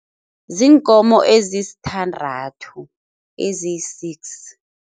Ziinkomo ezisithandathu, eziyi-six.